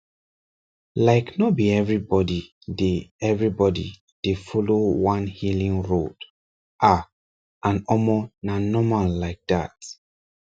like no be everybody dey everybody dey follow one healing road ah and omor na normal like that